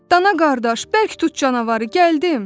Dana qardaş, bərk tut canavarı, gəldim!